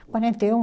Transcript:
Quarenta e um